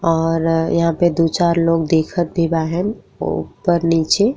और यहां पे दु चार लोग दिखत भी बाहेन ऊपर नीचे।